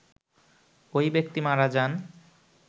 ওই ব্যক্তি মারা যান